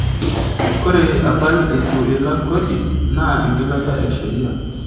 Ore apal eitu ilak kodi naa engilata e sheria.